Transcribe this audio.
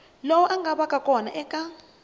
lowu nga vaka kona eka